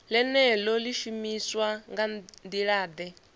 ḽeneḽo ḽi shumiswa nga nḓilaḓe